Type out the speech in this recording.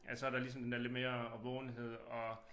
At så der ligesom den er lidt mere årvågenhed og